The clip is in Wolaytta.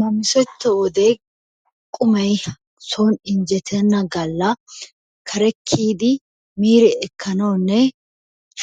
Namissetto wode qumay soon injjettena galla kare kiyidi biiri ekkanawunne